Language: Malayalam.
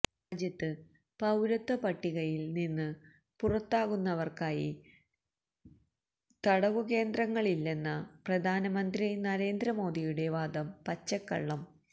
രാജ്യത്ത് പൌരത്വ പട്ടികയിൽ നിന്ന് പുറത്താകുന്നവർക്കായി തടവുകേന്ദ്രങ്ങളില്ലെന്ന പ്രധാനമന്ത്രി നരേന്ദ്രമോദിയുടെ വാദം പച്ചക്കള്ളം